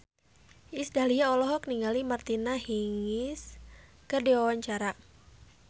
Iis Dahlia olohok ningali Martina Hingis keur diwawancara